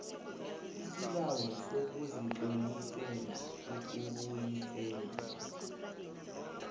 isibawo sokuzitlolisela ukubuyiselwa